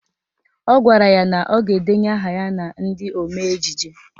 Ọ gwara ya na ọ ga-edenye aha ya na ndị omee ejije